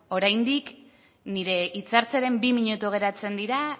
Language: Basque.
oraindik nire hitza hartzearen bi minutu geratzen dira